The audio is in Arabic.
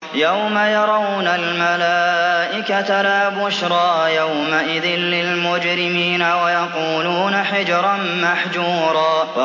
يَوْمَ يَرَوْنَ الْمَلَائِكَةَ لَا بُشْرَىٰ يَوْمَئِذٍ لِّلْمُجْرِمِينَ وَيَقُولُونَ حِجْرًا مَّحْجُورًا